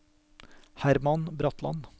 Herman Bratland